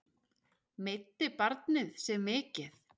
Meiddi barnið sig mikið?